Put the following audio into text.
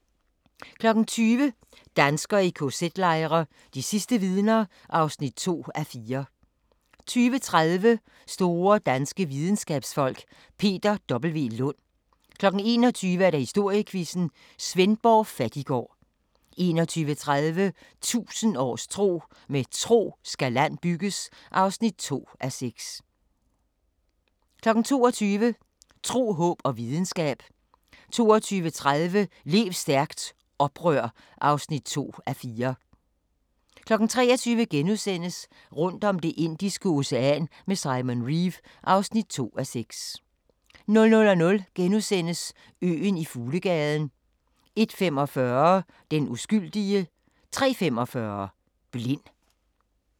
20:00: Danskere i kz-lejre – de sidste vidner (2:4) 20:30: Store danske videnskabsfolk: Peter W. Lund 21:00: Historiequizzen: Svendborg Fattiggård 21:30: 1000 års tro: Med tro skal land bygges (2:6) 22:00: Tro, håb og videnskab 22:30: Lev stærkt - oprør (2:4) 23:00: Rundt om Det indiske Ocean med Simon Reeve (2:6)* 00:00: Øen i Fuglegaden * 01:45: Den uskyldige 03:45: Blind